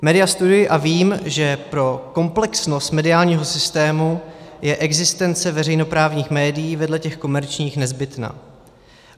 Média studuji a vím, že pro komplexnost mediálního systému je existence veřejnoprávních médií vedle těch komerčních nezbytná.